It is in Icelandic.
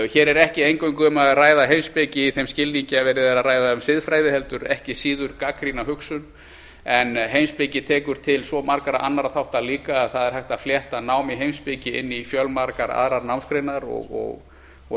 hér er ekki eingöngu um að ræða heimspeki í þeim skilningi að verið sé að ræða um siðfræði heldur ekki síður gagnrýna hugsun en heimspeki tekur til svo margra annarra þátta líka að það er hægt að flétta nám í heimspeki inn í fjölmargar aðrar námsgreinar og